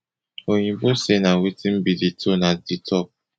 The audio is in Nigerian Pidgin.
oyinbo say na wetin be di tone at di top